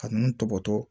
Ka nunnu tɔbɔtɔ